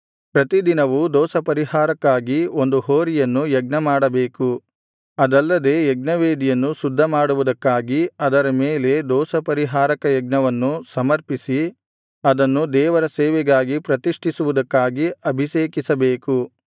ಪ್ರತಿದಿನವೂ ದೋಷಪರಿಹಾರಕ್ಕಾಗಿ ಒಂದು ಹೋರಿಯನ್ನು ಯಜ್ಞಮಾಡಬೇಕು ಅದಲ್ಲದೆ ಯಜ್ಞವೇದಿಯನ್ನು ಶುದ್ಧಮಾಡುವುದಕ್ಕಾಗಿ ಅದರ ಮೇಲೆ ದೋಷಪರಿಹಾರಕ ಯಜ್ಞವನ್ನು ಸಮರ್ಪಿಸಿ ಅದನ್ನು ದೇವರ ಸೇವೆಗಾಗಿ ಪ್ರತಿಷ್ಠಿಸುವುದಕ್ಕಾಗಿ ಅಭಿಷೇಕಿಸಬೇಕು